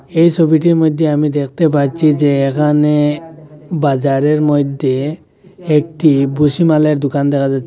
এই সবিটির মদ্যে আমি দেখতে পাচ্ছি যে এখানে বাজারের মইধ্যে একটি ভূষিমালের দোকান দেখা যাচ্ছে।